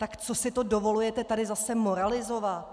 Tak co si to dovolujete tady zase moralizovat?